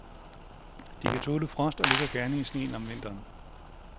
De kan tåle frost og ligger gerne i sneen om vinteren.